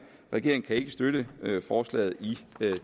regeringen kan ikke støtte forslaget i